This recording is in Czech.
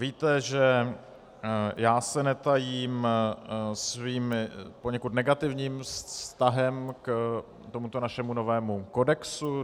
Víte, že já se netajím svým poněkud negativním vztahem k tomuto našemu novému kodexu.